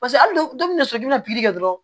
Paseke hali dɔw bi na sɔrɔ i bina kɛ